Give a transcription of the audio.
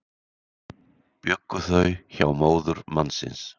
Bjuggu þau hjá móður mannsins